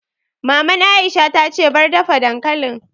Maman Aisha ta ce 'Bar dafa dankalin'!